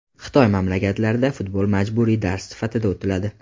Xitoy maktablarida futbol majburiy dars sifatida o‘tiladi.